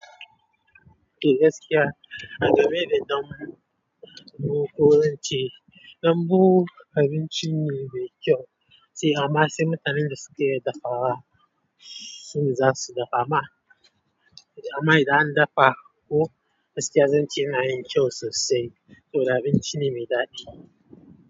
Eh gaskiya a game da dambu, mu kullum ci dambu abinci ne mai ƙyau. Sai amma sai mutanen da suke iya dafawa sune za su dafa. Amma, amma idan an dafa ko gaskiya zance yana yin kyau sosai, saboda abinci ne mai ɗadi.